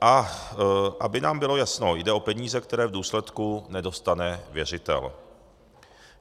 A aby nám bylo jasno, jde o peníze, které v důsledku nedostane věřitel.